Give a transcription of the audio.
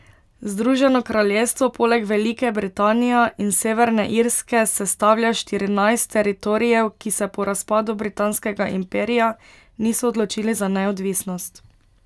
Združeno kraljestvo poleg Velike Britanija in Severne Irske sestavlja štirinajst teritorijev, ki se po razpadu britanskega imperija niso odločili za neodvisnost.